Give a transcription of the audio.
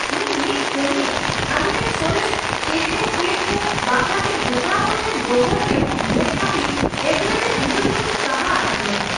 ᱤᱧ ᱢᱤᱫ ᱠᱟᱹᱢᱤᱭᱟᱹ ᱟᱞᱮᱨᱮᱱ ᱥᱚᱨᱮᱥ ᱴᱮᱠᱱᱳᱠᱨᱮᱴ ᱠᱚ ᱵᱟᱠᱷᱨᱟᱛᱮ ᱦᱮᱯᱨᱟᱣ ᱠᱚ ᱴᱷᱮᱱ ᱰᱚᱜᱚᱨ ᱮᱢᱚᱜ ᱧᱮᱞ ᱠᱷᱟᱹᱛᱤᱨ ᱮᱫᱽᱨᱮᱛᱮ ᱦᱩᱫᱟᱹ ᱠᱷᱚᱱ ᱤᱧ ᱥᱟᱦᱟ ᱟᱠᱟᱫᱮᱭᱟ ᱾